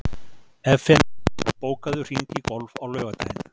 Evfemía, bókaðu hring í golf á laugardaginn.